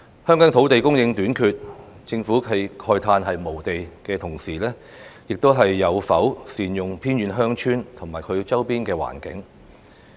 香港土地供應短缺，政府慨嘆無地的同時，又有否善用偏遠鄉村及其周邊環境呢？